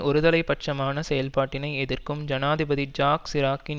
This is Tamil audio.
ஒரு தலை பட்சமான செயல்பாட்டினை எதிர்க்கும் ஜனாதிபதி ஜாக் சிராக்கின்